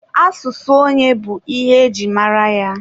Asụsụ onye bụ ihe e ji mara ya.